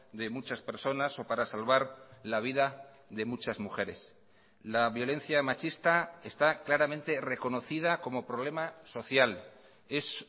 de muchas personas o para salvar la vida de muchas mujeres la violencia machista está claramente reconocida como problema social es